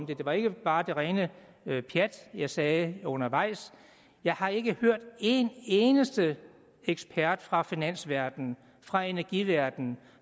det det var ikke bare det rene pjat jeg sagde undervejs jeg har ikke hørt en eneste ekspert fra finansverdenen fra energiverdenen